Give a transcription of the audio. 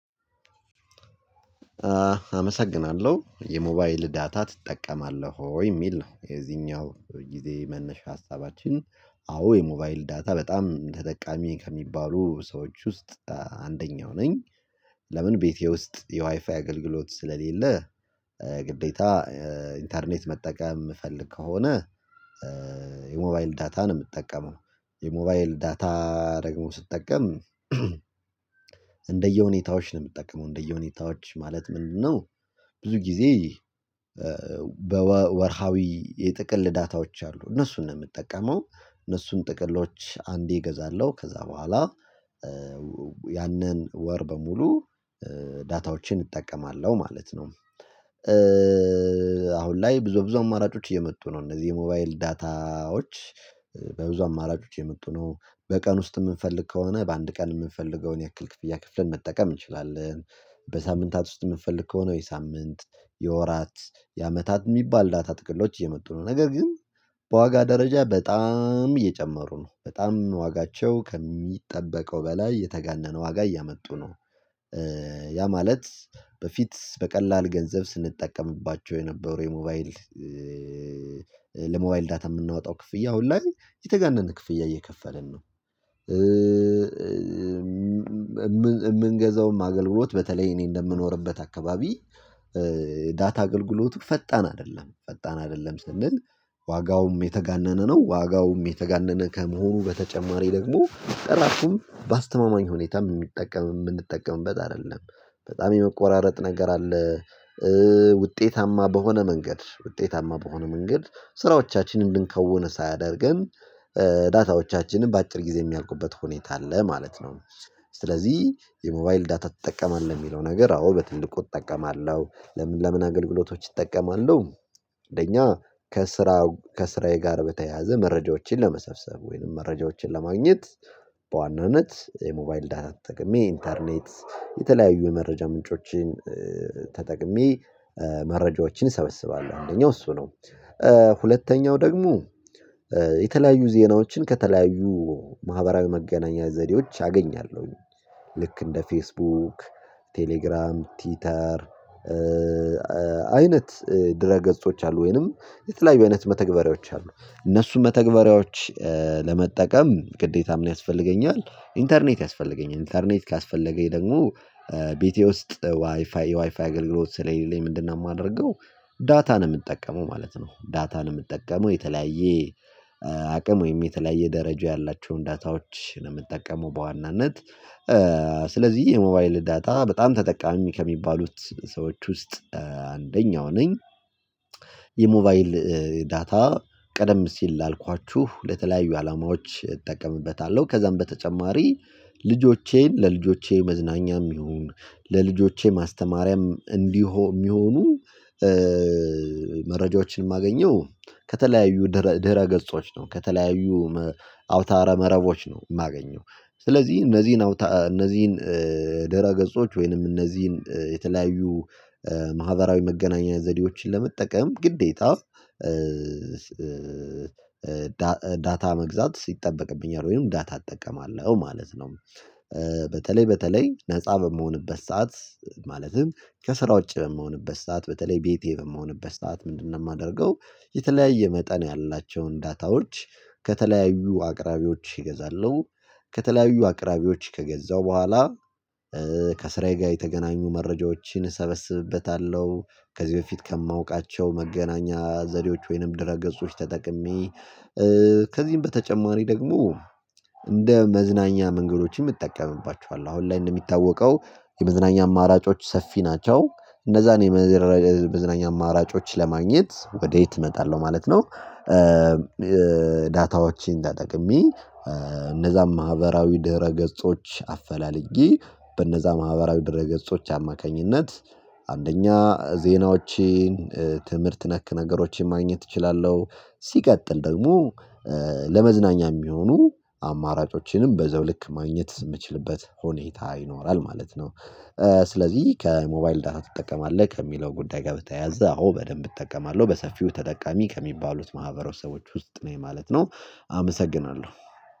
አመሰግናለሁ የሞባይል ዳታ ትጠቀማለህ ወይ የሚል ነው? የዚህኛው ጊዜ መነሻ ሀሳባችን አዎ የሞባይል ዳታ በጣም ተጠቃሚ ከሚባሉ ሰዎች ውስጥ አንደኛው ነኝ። ለምን ቤቴ ውስጥ የዋይፋይ አገልግሎት ስለሌለ ግዴታ ኢንተርኔት መጠቀም የምፈልግ ከሆነ የሞባይል ዳታን ነው የምጠቀመው። የሞባይል ዳታ ደግሞ ስትጠቀም ነው የምጠቀመው እንደየሁኔታዎች ማለት ምንድነው? ብዙ ጊዜ ወርሃዊ የጥቅል ዳታዎች አሉ እነሱን ነው የምጠቀመው። እነሱን ጥቅሎች አንዴ እገዛለሁ ከዛ በኋላ ያንን ወር በሙሉ ዳታዎችን እጠቀማለሁ ማለት ነው። ላይ ብዙ ብዙ አማራጮች እየመጡ ነው እነዚህ የሞባይል ዳታዎች በብዙ አማራጮች የመጡ ነው። በቀን ውስጥ የምንፈልግ ከሆነ በአንድ ቀን የምንፈልገውን ያክል ክፍያ ከፍለን መጠቀም እንችላለን። በሳምንታት ውስጥ የምንፈልግ ከሆነ የሳምንት የወራት የአመታት የሚባል ዳታ ጥቅሎች እየመጡ ነው። ነገር ግን በዋጋ ደረጃ በጣም የጨመሩ ነው በጣም ዋጋቸው ከሚጠበቀው በላይ የተጋነነ ዋጋ እያመጡ ነው። ያ ማለት በፊት በቀላል ገንዘብ ስንጠቀምባቸው የነበረው የሞባይል ለሞባይል ዳታ የምናወጣው ክፍያ አሁን ላይ የተጋነነ ክፍያ እየከፈልን ነው። የምንገዛውም አገልግሎት በተለይ እኔ እንደምኖርበት አካባቢ ዳታ አገልግሎቱ ፈጣን አይደለም ፈጣን አይደለም ስንል ዋጋውም የተጋነነ ነው። ዋጋውም የተጋነነ ከመሆኑ በተጨማሪ ደግሞ ጥራቱም በአስተማማኝ ሁኔታ የምንጠቀም የምንጠቀምበት አይደለም። በጣም የመቆራረጥ ነገር አለ። ውጤታማ በሆነ መንገድ ውጤታማ በሆነ መንገድ ስራዎቻችንን እንድንከውን ሳያደርገን ዳታዎቻችንን በአጭር ጊዜ የሚያልቁበት ሁኔታ አለ ማለት ነው። ስለዚህ የሞባይል ዳታ ትጠቀማለህ የሚለው ነገር አዎ በትልቁ እጠቀማለሁ። ለምን ለምን አገልግሎቶች እጠቀማለሁ። አንደኛ ከስራ ከስራዬ ጋር በተያያዘ መረጃዎችን ለመሰብሰብ ወይንም መረጃዎችን ለማግኘት በዋናነት የሞባይል ዳታ ተጠቅሜ ኢንተርኔት የተለያዩ የመረጃ ምንጮችን ተጠቅሜ መረጃዎችን እሰበስባለሁ አንደኛው እሱ ነው። ሁለተኛው ደግሞ የተለያዩ ዜናዎችን ከተለያዩ ማህበራዊ መገናኛ ዘዴዎች አገኛለሁ። ልክ እንደ ፌስቡክ ቴሌግራም ቲተር አይነት ድረ ገጾች አሉ ወይንም የተለያዩ አይነት መተግበሪያዎች አሉ እነሱ መተግበሪያዎች ለመጠቀም ግዴ ምን ያስፈልገኛል? ኢንተርኔት ያስፈልገኛል ኢንተርኔት ካስፈለገኝ ደግሞ ቤቴ ውስጥ ዋይፋይ የዋይፋይ አገልግሎት ስለሌለኝ ምንድነው የማደርገው? ዳታ ነው የምጠቀመው ማለት ነው። ዳታ ነው የምጠቀመው የተለያየ አቅም ወይም የተለያየ ደረጃ ያላቸውን ዳታዎችን ነው የምጠቀመው በዋናነት። ስለዚህ የሞባይል ዳታ በጣም ተጠቃሚ ከሚባሉት ሰዎች ውስጥ አንደኛው ነኝ። የሞባይል ዳታ ቀደም ሲል አልኳችሁ ለተለያዩ አላማዎች እጠቀምበታለሁ ከዛም በተጨማሪ ልጆቼን ለልጆቼ መዝናኛም ይሁን ለልጆቼ ማስተማሪያም እንዲሆን የሚሆኑ መረጃዎችን የማገኘው ከተለያዩ ድህረ ገጾች ነው። ከተለያዩ አውታረ መረቦች ነው የማገኘው። ስለዚህ እነዚህን እነዚህን ደረ ገጾች ወይንም እነዚህን የተለያዩ ማህበራዊ መገናኛ ዘዴዎችን ለመጠቀም ግዴታ ዳታ መግዛት ይጠበቅብኛል ወይም ዳታ እጠቀማለሁ ማለት ነው። በተለይ በተለይ ነፃ በምሆንበት ሰዓት ማለትም ከስራ ውጪ በምሆንበት ሰዓት በተለይ ቤቴ በምሆንበት ሰዓት ምንድነው የማደርገው? የተለያየ መጠን ያላቸውን ዳታዎች ከተለያዩ አቅራቢዎች እገዛለሁ። ከተለያዩ አቅራቢዎች ከገዛሁ በኋላ ከስራዬ ጋር የተገናኙ መረጃዎችን እሰበስብበታለሁ። ከዚህ በፊት ከማውቃቸው መገናኛ ዘዴዎች ወይንም ድረ ገጾች ተጠቅሜ ከዚህም በተጨማሪ ደግሞ እንደ መዝናኛ መንገዶችም እጠቀምባችኋለው። አሁን ላይ እንደሚታወቀው የመዝናኛ አማራጮች ሰፊ ናቸው። እነዛን የመዝናኛ አማራጮች ለማግኘት ወዴት እመጣለሁ ማለት ነው? ዳታዎችን ተጠቅሜ እነዛ ማህበራዊ ድህረ ገጾች አፈላለጌ በነዛ ማህበራዊ ድረ ገጾች አማካኝነት አንደኛ ዜናዎቼን ትምህርት ነክ ነገሮችን ማግኘት እችላለሁ። ሲቀጥል ደግሞ ለመዝናኛ የሚሆኑ አማራጮችንም በዛው ልክ ማግኘት የምችልበት ሁኔታ ይኖራል ማለት ነው። ስለዚህ ከሞባይል ዳታ ትጠቀማለህ ከሚለው ጉዳይ ጋር በተያያዘ አዎ በደንብ እጠቀማለሁ በሰፊው ተጠቃሚ ከሚባሉት ማህበረሰቦች ውስጥ ነኝ ማለት ነው። አመሰግናለሁ